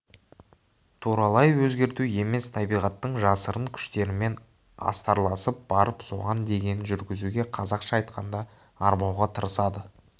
туралай өзгерту емес табиғаттың жасырын күштерімен астарласып барып соған дегенін жүргізуге қазақша айтқанда арбауға тырысады